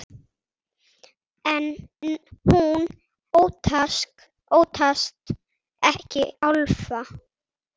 En hún óttast ekki álfa.